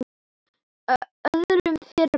öðrum þyrma.